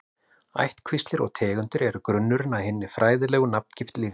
Ættkvíslir og tegundir eru grunnurinn að hinni fræðilegu nafngift lífvera.